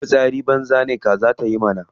Idan fitsari banza ne kaza ma tayi.